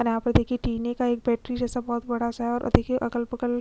और यहाँ पर देखिए टिने का एक बैटरी जैसा बहुत बड़ा सा हैं और देखिए अगल - बगल --